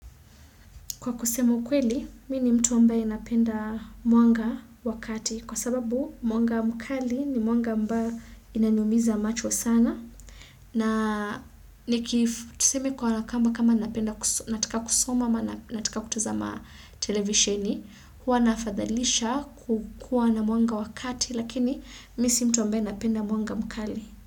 Kwa kusema ukweli, mimi ni mtu ambaye napenda mwanga wakati kwa sababu mwanga mkali ni mwanga ambayo inanimiza macho sana. Na nikifu, tusemi kwa nakamba kama natika kusoma ma nataka kutazama televisioni, hua nafadhalisha kukua na mwanga wakati lakini mimi si mtu ambaye napenda mwanga mkali.